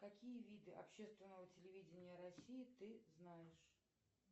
какие виды общественного телевидения россии ты знаешь